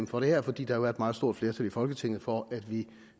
for det her fordi der jo er et meget stort flertal i folketinget for at vi